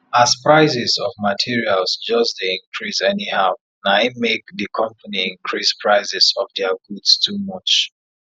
as prices of materials just dey increase anyhow naim make di company increase prices of dia goods too much